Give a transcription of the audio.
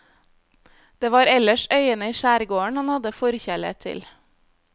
Det var ellers øyene i skjærgården han hadde forkjærlighet til.